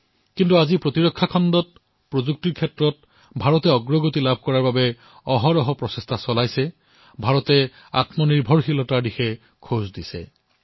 কিন্তু আজি প্ৰতিৰক্ষা ক্ষেত্ৰত প্ৰযুক্তিৰ ক্ষেত্ৰত ভাৰতে আগুৱাই যোৱাৰ নিৰন্তৰ প্ৰয়াস কৰিছে ভাৰতে আত্মনিৰ্ভৰতাৰ দিশত আগুৱাই গৈছে